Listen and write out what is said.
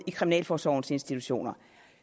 i kriminalforsorgens institutioner